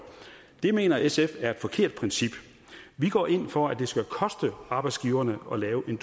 det mener sf er et forkert princip vi går ind for at det skal koste arbejdsgiverne at lave en